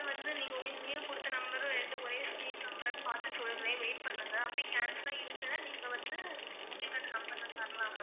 Number வந்து நீங்க உங்களுக்கு new கொடுத்த number ம் ரெண்டும் ஒரே same number ஆன்னு பார்த்து சொல்றேன் wait பண்ணுங்க அப்படி cancel ஆ இருந்துன்னா நீங்க வந்து உங்களுக்கு அந்த number நான் தரலாம் ma'am